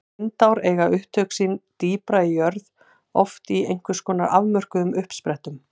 Lindár eiga upptök sín dýpra í jörð, oft í einhvers konar afmörkuðum uppsprettum.